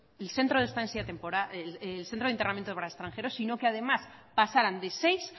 elcentro de internamiento para extranjero sino que además pasaran de seis